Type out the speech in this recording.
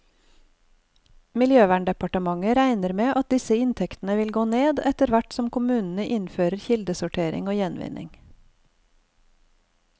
Miljøverndepartementet regner med at disse inntektene vil gå ned, etterhvert som kommunene innfører kildesortering og gjenvinning.